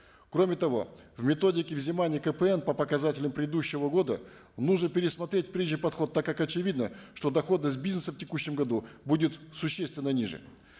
кроме того в методике взимания кпн по показателям предыдущего года нужно пересмотреть прежний подход так как очевидно что дохода с бизнесом в текущем году будет существенно ниже